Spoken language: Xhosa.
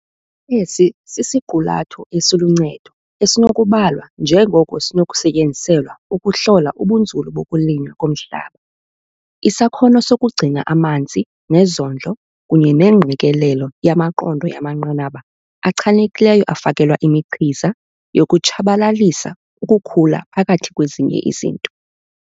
Esi sisiqulatho esiluncedo esinokubalwa njengoko sinokusetyenziselwa ukuhlola ubunzulu bokulinywa komhlaba, isakhono sokugcina amanzi nezondlo kunye nengqikelelo yamaqondo yamanqanaba achanekileyo afakelwa imichiza yokutshabalalisa ukhula phakathi kwezinye izinto.